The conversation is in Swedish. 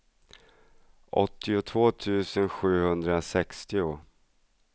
åttiotvå tusen sjuhundrasextio